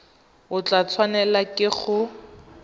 o tla tshwanelwa ke go